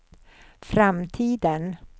framtiden